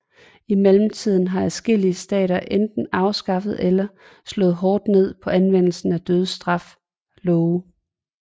I mellemtiden har adskillige stater enten afskaffet eller slået hårdt ned på anvendelsen af dødsstraf love